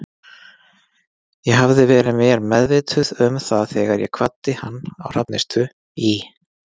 Ég hafði verið mér meðvituð um það þegar ég kvaddi hann á Hrafnistu í